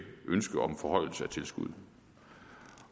ønske om en forhøjelse af tilskuddet